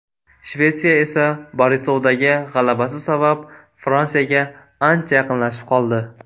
Shvetsiya esa Borisovdagi g‘alabasi sabab Fransiyaga ancha yaqinlashib oldi.